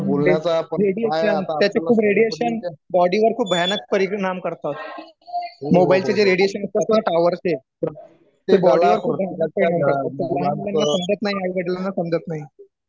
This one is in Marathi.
रेडिएशन त्याचे खूप रेडिएशन बॉडी वर खूप भयानक परिणाम करतात मोबाईल चे जे रेडिएशन येतात टॉवर चे ते कोणाला समजत नाही आई वडिलांना समजत नाही